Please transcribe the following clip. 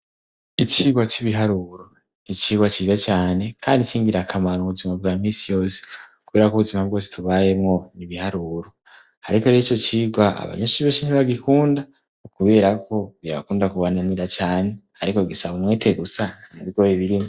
Icirwa c'ibiharuro nicirwa ciza cane, kandi icingira akamara ubuzima bwa misi yose kukubera k'ubuzima bwo situbayemwo nibiharuro, ariko are ico cirwa abanyoshibe co ntibagikunda ukuberako bira abakunda kubananira cane, ariko gisaba umwete gusa mu bigoye birimwo.